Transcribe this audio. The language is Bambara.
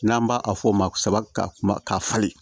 N'an b'a a fɔ o ma saba ka kuma ka falen